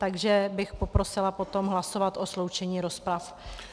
Takže bych poprosila potom hlasovat o sloučení rozpravy.